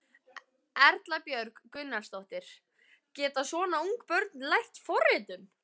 Erla Björg Gunnarsdóttir: Geta svona ung börn lært forritun?